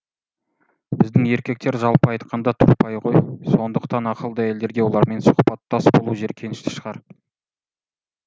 біздің еркектер жалпы айтқанда тұрпайы ғой сондықтан ақылды әйелдерге олармен сұқбаттас болу жеркенішті шығар